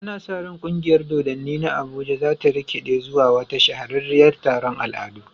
Ana sa ran kungiyar dodanni na Abuja za ta rikide zuwa wata shahararriyar taron al'adu.